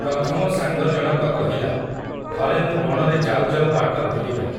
ପ୍ରଥମ ସାଙ୍ଗ ଜଣକ କହିଲା, ଥରେ ମୁଁ ବଣରେ ଯାଉଯାଉ ବାଟ ଭୁଲିଗଲି ।